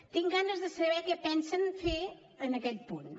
tinc ganes de saber què pensen fer en aquest punt